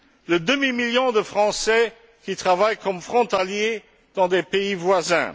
Le demi million de Français qui travaillent comme frontaliers dans des pays voisins?